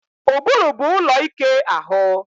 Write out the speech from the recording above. Ụbụrụ bụ ụlọ ike ahụ